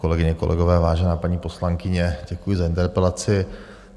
Kolegyně, kolegové, vážená paní poslankyně, děkuji za interpelaci.